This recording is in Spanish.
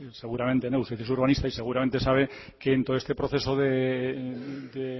seguramente no usted es urbanista y seguramente sabe que en todo este proceso de